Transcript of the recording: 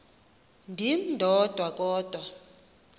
ndim ndodwa kodwa